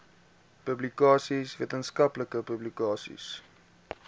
publikasies wetenskaplike publikasies